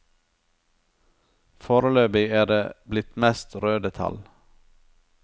Foreløpig er det blitt mest røde tall.